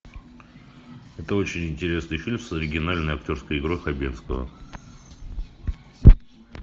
это очень интересный фильм с оригинальной актерской игрой хабенского